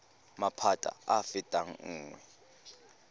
maphata a a fetang nngwe